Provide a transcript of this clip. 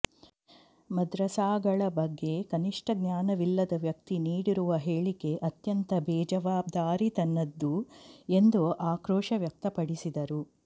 ಮದ್ರಸಾಗಳ ಬಗ್ಗೆ ಕನಿಷ್ಟ ಜ್ಞಾನವಿಲ್ಲದ ವ್ಯಕ್ತಿ ನೀಡಿರುವ ಹೇಳಿಕೆ ಅತ್ಯಂತ ಬೇಜವಾಬ್ದಾರಿತನದ್ದು ಎಂದು ಆಕ್ರೋಶ ವ್ಯಕ್ತಪಡಿಸಿದರು